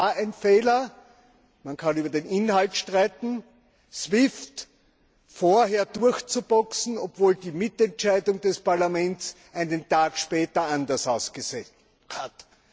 Ja, es war ein Fehler, man kann über den Inhalt streiten, SWIFT vorher durchzuboxen, obwohl die Mitentscheidung des Parlaments einen Tag später anders ausgesehen hat.